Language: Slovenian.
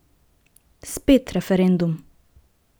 Spet referendum!